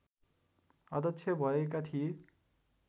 अध्यक्ष भएका थिए